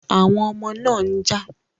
Àwọn ọmọ náà ń jà